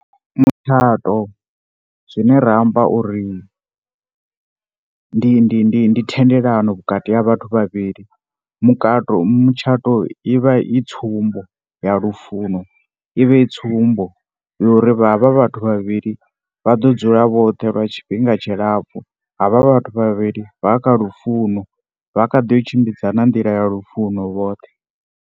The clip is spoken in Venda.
Mutshato zwine ra amba uri ndi ndi ndi thendelano vhukati ha vhathu vhavhili. Mukato. mutshato i vha i tsumbo ya lufuno, i vha i tsumbo yo ri havha vhathu vhavhili vha ḓo dzula vhoṱhe lwa tshifhinga tshilapfhu. Havha vhathu vhavhili vha kha lufuno, vha kha ḓi yo tshimbidzana nḓila ya lufuno vhoṱhe.